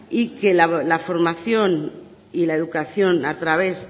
y que la formación y la educación a través